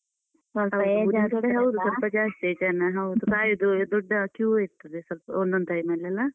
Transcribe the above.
ಸೊಲ್ಪ ಜಾಸ್ತಿ ಜನ ಹೌದು ದೊಡ್ಡ queue ಇರ್ತದೆ. ಅದೇ ಸೊಲ್ಪ ಒಂದೊಂದ್ time ಅಲ್ಲಿ ಅಲ.